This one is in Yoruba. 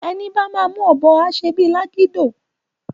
Eni bá má mú òbò á sé bi lágidó